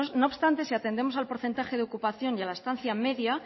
no obstante si atendemos al porcentaje de ocupación y a la estancia media